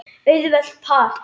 Auðvelt par!